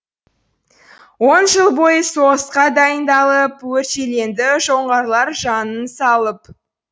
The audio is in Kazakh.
он жыл бойы соғысқа дайындалып өршеленді жоңғарлар жанын салып